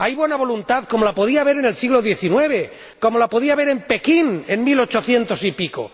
Hay buena voluntad, como la podía haber en el siglo xix, como la podía haber en Pekín en mil ochocientos y pico.